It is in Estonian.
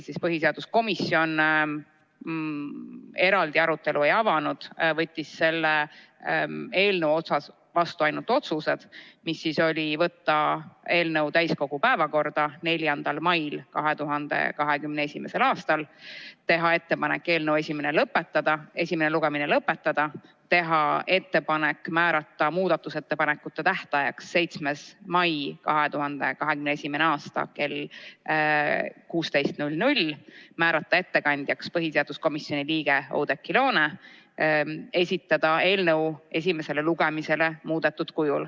Siis põhiseaduskomisjon eraldi arutelu ei avanud ja langetas selle eelnõu kohta ainult otsused: võtta eelnõu täiskogu päevakorda 4. mail 2021. aastal, teha ettepanek eelnõu esimene lõpetada ja kui esimene lugemine lõpetatakse, teha ettepanek määrata muudatusettepanekute tähtajaks 7. mai 2021. aastal kell 16, määrata ettekandjaks põhiseaduskomisjoni liige Oudekki Loone ja esitada eelnõu esimesele lugemisele muudetud kujul.